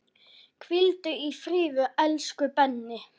Hvíldu í friði, elsku Benni.